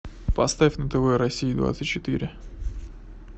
поставь на тв россия двадцать четыре